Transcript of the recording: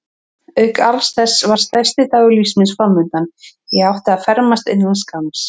Auk alls þessa var stærsti dagur lífs míns framundan: ég átti að fermast innan skamms.